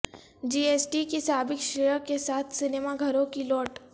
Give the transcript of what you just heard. جی S T کی سابق شرح کے ساتھ سنیما گھروں کی لوٹ